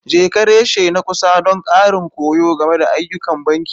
Jeka reshe na kusa don ƙarin koyo game da ayyukan banki.